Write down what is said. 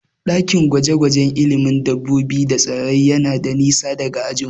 Ɗakin gwaje-gwajen ilimin dabbobi da tsirrai yayi nisa daga ajinmu.